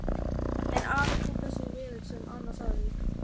En afi tók þessu vel sem Anna sagði.